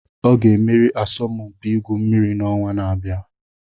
Ọ ga-emeri asọmpi igwu mmiri n'ọnwa na-abịa